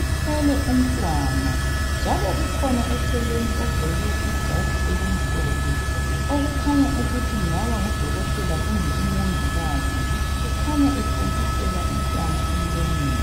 Uthwele umntwana. Njalo kukhona eceleni ogqoke ijazi, elimhlophe. Okuukhanya ukuthi kungaba ngudokoteka, kumbe umongikazi. Ukhanya ethontisela umntwana emlonyeni.